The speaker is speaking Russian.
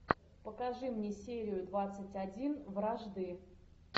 покажи мне серию двадцать один вражды